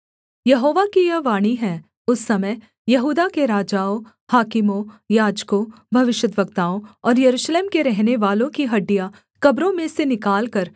यहोवा की यह वाणी है उस समय यहूदा के राजाओं हाकिमों याजकों भविष्यद्वक्ताओं और यरूशलेम के रहनेवालों की हड्डियाँ कब्रों में से निकालकर